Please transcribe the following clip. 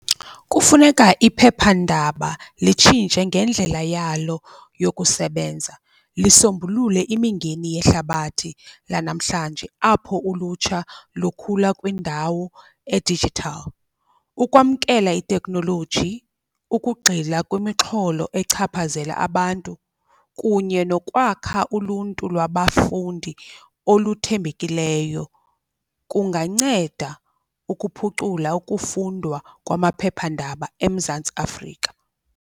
Kufuneka iphephandaba litshintshe ngendlela yalo yokusebenza, lisombulule imingeni yehlabathi lanamhlanje apho ulutsha lukhula kwindawo e-digital. Ukwamkela iteknoloji, ukugxila kwimixholo echaphazela abantu kunye nokwakha uluntu lwabafundi oluthembekileyo, kunganceda ukuphucula ukufundwa kwamaphephandaba eMzantsi Afrika.